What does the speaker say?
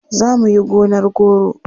Za mu yi gonar goro.